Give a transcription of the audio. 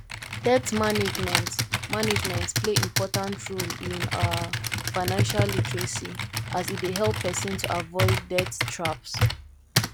debt management management play important role in um financial literacy as e dey help pesin to avoid debt traps